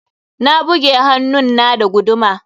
Na buge hannun na da guduma.